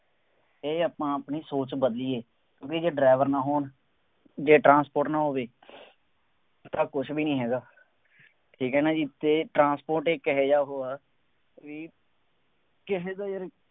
ਇਹ ਆਪਾਂ ਆਪਣੀ ਸੋਚ ਬਦਲੀਏ, ਬਈ ਜੇ driver ਨਾ ਹੋਣ, ਜੇ ਟਰਾਂਸਪੋਰਟ ਨਾ ਹੋਵੇ, ਤਾਂ ਕੁੱਛ ਵੀ ਨਹੀਂ ਹੈਗਾ, ਠੀਕ ਹੈ ਨਾ ਜੀ, ਇਹ ਟਰਾਂਸਪੋਰਟ ਇੱਕ ਇਹੋ ਜਿਹਾ ਉਹ ਹੈ ਕਿ ਕਿਸੇ ਤੋਂ ਵੀ